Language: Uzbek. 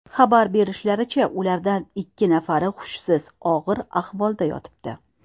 Xabar berishlaricha, ulardan ikki nafari hushsiz, og‘ir ahvolda yotibdi.